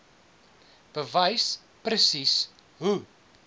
bewys presies hoe